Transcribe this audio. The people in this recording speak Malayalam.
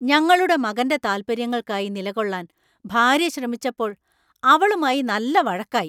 ഞങ്ങളുടെ മകന്‍റെ താൽപ്പര്യങ്ങൾക്കായി നിലകൊള്ളാൻ ഭാര്യ ശ്രമിച്ചപ്പോൾ അവളുമായി നല്ല വഴക്കായി.